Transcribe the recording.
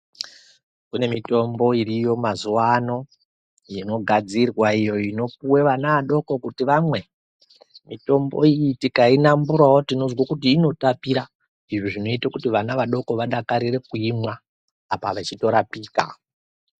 Kune mitombo iriyo mazuva ano inogadzirwa iyo inopuwa vana vadoko kuti vamwe. Mitombo iyi tikainamburawo tinozwa kuti inotapira. Izvi zvinoita kuti vana vadoko vadakarire kuimwa apa vachitorapika.